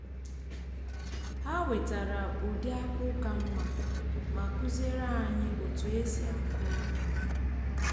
ha wetara ụdị akpụ ka mma ma kụziere anyị otu e si akụrụ ha